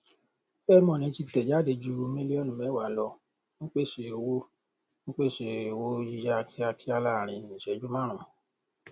fair money ti tẹ jáde ju mílíọnù mẹwàá lọ ń pèsè owó ń pèsè owó yíyá kíákíá láàárín ìṣẹjú márùnún